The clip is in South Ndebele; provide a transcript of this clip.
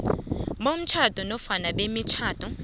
bomtjhado nofana bemitjhado